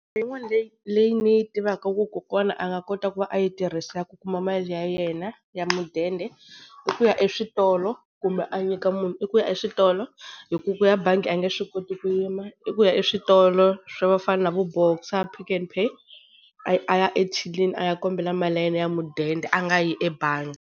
Leyin'wani leyi leyi ni yi tivaka ku kokwana nga kota ku va a yi tirhisa ku kuma mali ya yena ya mudende i ku ya eswitolo, kumbe a nyika munhu, i ku ya eswitolo hi ku ku ya bangi a nge swi koti ku yima, i ku ya eswitolo swo fana na va Boxer, Pick n Pay a ya ethyilini a ya kombela mali ya yena ya mudende a nga yi ebangi.